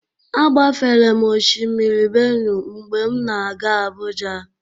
Agbafere m Oshimiri Benue mgbe m na-aga Abuja.